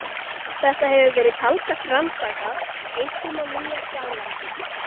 Þetta hefur verið talsvert rannsakað, einkum á Nýja-Sjálandi.